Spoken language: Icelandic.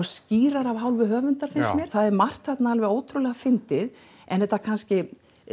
skýrara af hálfu höfunda finnst mér það er margt alveg ótrúlega fyndið en þetta kannski